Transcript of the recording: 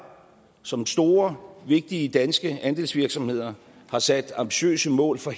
som er store og vigtige danske andelsvirksomheder har sat ambitiøse mål for